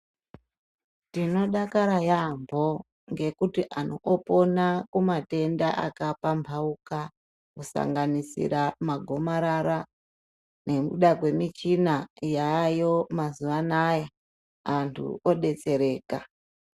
Tinodakara yaambo nekuti antu opona kumatenda akapambauka kusanganisira magomarara nekuda kwemuchina yaayo mazuwa anaya antu odetsereka.